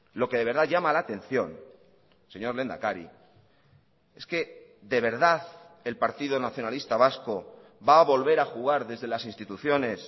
lo que de verdad llama la atención señor lehendakari es que de verdad el partido nacionalista vasco va a volver a jugar desde las instituciones